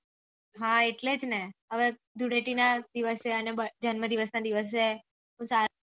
હા એટલે જ ને હવે ધૂળેટી ના દિવસે અને જન્મ દિવસ ના દિવસે